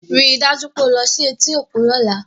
Rí i dájú pé o lo sí i etí òkun lọ́la!